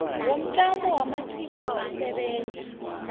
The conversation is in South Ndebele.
womtlamo wamaqhinga wokusebenza